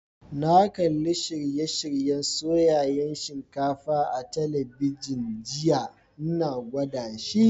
Na kalli shirye-shiryen soyayen shinkafa a'telibijin jiya, n'na gwada shi.